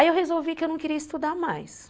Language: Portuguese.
Aí eu resolvi que eu não queria estudar mais.